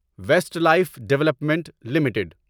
waste Life Development limited